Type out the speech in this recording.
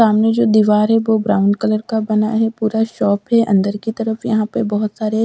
सामने जो दीवार है वो ब्राउन कलर का बना है पूरा शॉप है अंदर की तरफ यहां पे बहोत सारे--